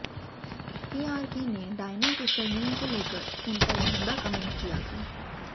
केआरके ने डायना के सरनेम को लेकर उन पर भद्दा कमेंट किया था